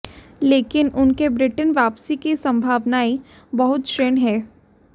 लेकिन उनके ब्रिटेन वापसी की संभावनाएं बहुत क्षीण हैं